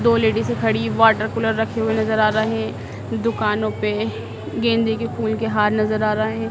दो लेडीज़ खड़ी वाटरकूलर रखे हुए नजर आ रहे दुकानों पे गेंदे के फूल की हार नजर आ रहे--